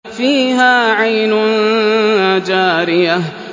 فِيهَا عَيْنٌ جَارِيَةٌ